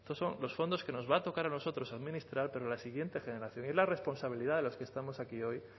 estos son los fondos que nos va a tocar a nosotros administrar pero la siguiente generación de ahí la responsabilidad de los que estamos aquí hoy